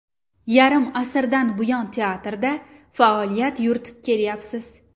Yarim asrdan buyon teatrda faoliyat yuritib kelayapsiz.